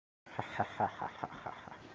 ха-ха